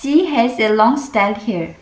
she has a long straight hair.